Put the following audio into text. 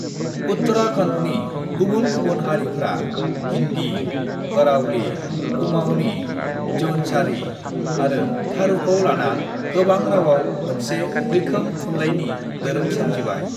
"उत्तराखन्डनि गुबुन-गुबुन हारिफ्रा हिन्दी, गढ़वाली, कुमाऊनी, जौनसारी आरो थारूखौ लाना गोबां रावआव मोनसे मैखोम थुनलाइनि दोरों सोमजिबाय।"